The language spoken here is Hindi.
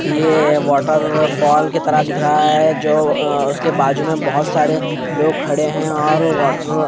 ये वाटर फॉल की तरह दिख रहा है जो उसके बाजू में बहुत सारे लोग खड़े हैं और वाटर --